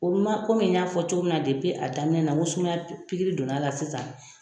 O kun man komi n y'a fɔ cogo min na depi a damina na n ko sumya pikiri don na a la sisan.